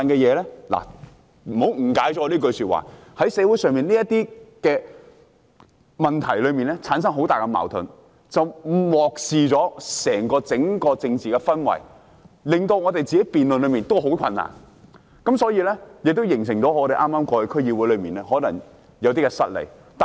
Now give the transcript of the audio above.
請別誤解我這句說話，在社會上，這些問題產生了很大矛盾，結果令人漠視了整個政治氛圍，也令我們的辯論變得相當困難，而且，這亦形成了我們在剛過去的區議會選舉中有些失利的形勢。